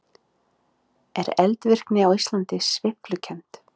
Er eldvirkni á Íslandi sveiflukennd?